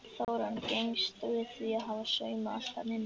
Þórunn gengst við því að hafa saumað allt þarna inni.